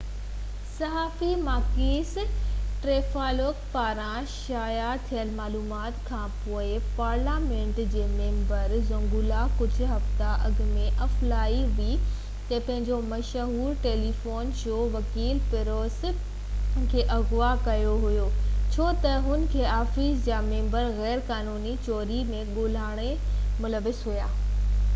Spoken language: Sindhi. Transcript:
ڪجھه هفتا اڳي الفا ٽي وي تي پنهنجي مشهور ٽيليويزن شو zoungla ۾ صحافي ماڪيس ٽرانٽيفلوپولوس پاران شايع ٿيل معلومات کان پوءِ پارليامينٽ جي ميمبر ۽ وڪيل پيٽروس مينٽويلس کي اغوا ڪيو ويو هو ڇو ته هن جي آفيس جا ميمبر غير قانوني چوري ۽ گهوٽالي ملوث هئا